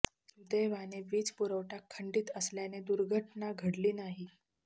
सुदैवाने विज पुरवठा खंडित असल्याने दुर्घटना घडली नाही